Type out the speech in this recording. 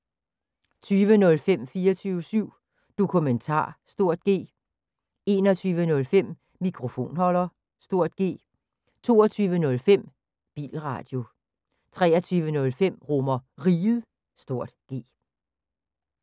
20:05: 24syv Dokumentar (G) 21:05: Mikrofonholder (G) 22:05: Bilradio 23:05: RomerRiget (G)